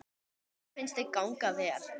Mér finnst þau ganga vel.